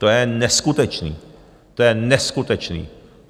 To je neskutečné, to je neskutečné.